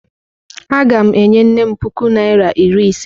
Aga m enye nnem puku naira iri ise.